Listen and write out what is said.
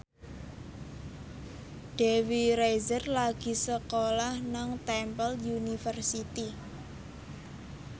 Dewi Rezer lagi sekolah nang Temple University